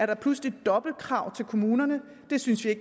der pludselig er dobbeltkrav til kommunerne det synes vi i